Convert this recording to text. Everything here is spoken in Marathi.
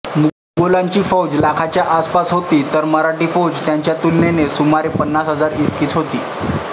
मोगलांची फौज लाखाच्या आसपास होती तर मराठी फौज त्यांच्या तुलनेने सुमारे पन्नास हजार इतकीच होती